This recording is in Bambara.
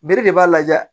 Bere de b'a lajɛ